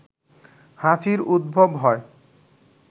হাঁচির উদ্ভব হয়